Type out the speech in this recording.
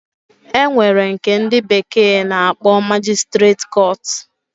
Enwere nke ndi bekee na-akpo magistrate court.